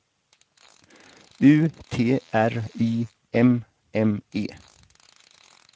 U T R Y M M E